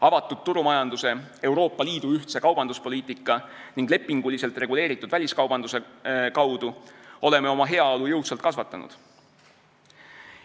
Avatud turumajanduse, Euroopa Liidu ühtse kaubanduspoliitika ning lepinguliselt reguleeritud väliskaubanduse kaudu oleme oma heaolu jõudsalt kasvatanud.